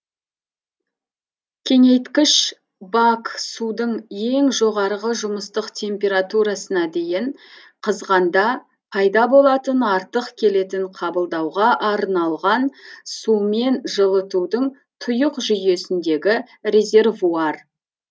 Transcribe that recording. кеңейткіш бак судың ең жоғарғы жұмыстық температурасына дейін қызғанда пайда болатын артық келетін қабылдауға арналған сумен жылытудың тұйық жүйесіндегі резервуар